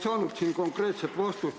Ma ei saanud konkreetset vastust.